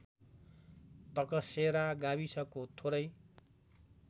तकसेरा गाविसको थोरै